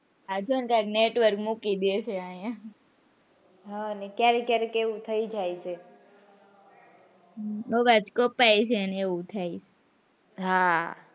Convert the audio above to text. Network મૂકી દે છે અહીંયા ક્યારેક કયારેક એવું થઇ જાય છે અવાજ કપાય છે ને એવું થાય છે હા,